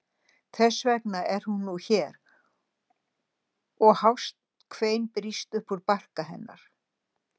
Þess vegna er hún nú hér og hást kvein brýst upp úr barka hennar.